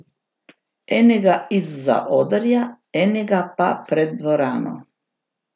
Enega iz zaodrja, enega pa pred dvorano.